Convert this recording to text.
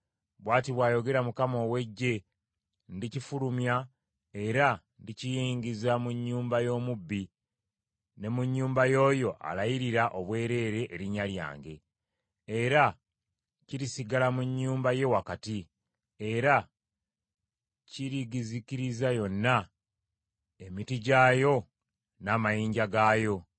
Bw’ati bw’ayogera Mukama ow’Eggye, ‘Ndikifulumya, era ndikiyingiza mu nnyumba y’omubbi ne mu nnyumba y’oyo alayiririra obwereere erinnya lyange. Era kirisigala mu nnyumba ye wakati, era kirigizikiriza yonna, emiti gyayo n’amayinja gaayo.’ ”